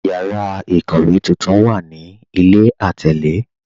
Yàrà ikówe tuntun wà ní ilẹ̀ atẹlè.